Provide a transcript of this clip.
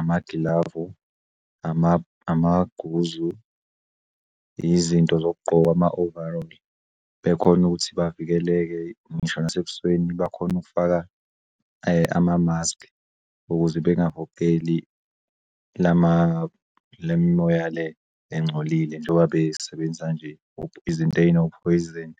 amagilavu, amaguzu, izinto zokugqoka ama-overall bekhon'ukuthi bavikeleke ngisho nasebusweni bakhon'ukufaka amamaski ukuze bengahogeli lemimoya le engcolile njoba besebenzisa nje izinto ezinophoyiseni.